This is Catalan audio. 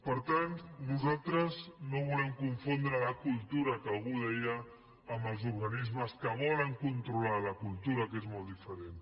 per tant nosaltres no volem confondre la cultura que algú deia amb els organismes que volen controlar la cultura que és molt diferent